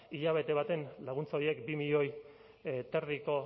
hilabete baten laguntza horiek bi milioi eta erdiko